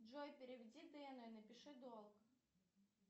джой переведи дэну и напиши долг